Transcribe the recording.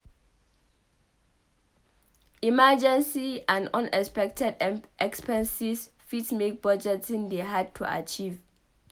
Emergency and unexpected expenses fit make budgeting dey hard to achieve